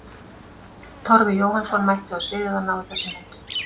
Torfi Jóhannsson mætti á svæðið og náði þessum myndum.